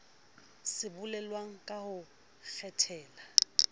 se bolelwang ka ho kgethela